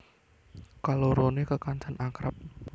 Kaloroné kekancan akrab